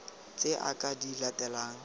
tse a ka di latelang